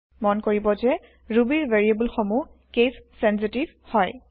মন কৰিব যে ৰুবীৰ ভেৰিয়েব্ল সমূহ কেচ চেনচিতিভ হয়